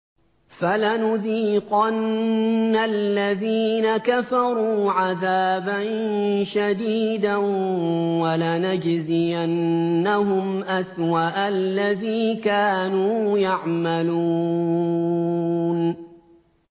فَلَنُذِيقَنَّ الَّذِينَ كَفَرُوا عَذَابًا شَدِيدًا وَلَنَجْزِيَنَّهُمْ أَسْوَأَ الَّذِي كَانُوا يَعْمَلُونَ